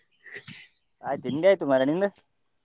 ಹಾ ತಿಂಡಿ ಆಯ್ತು ಮಾರ್ರೆ ನಿಂದು.